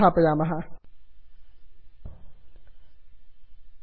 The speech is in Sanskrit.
पूर्वोक्तविधानानुसारेण स्क्रैप् बुक स्क्राप् बुक् इति अन्यदेकम् एक्स्टेन्षन् संस्थापयामः